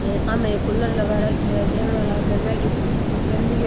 हे सामे एक कूलर लगा राख्यो है देखनाऊ लागे गर्मिया की गर्मी के --